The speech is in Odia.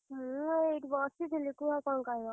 ମୁଁ ଏଇଠି ବସିଥିଲି, କୁହ କଣ କହିବ?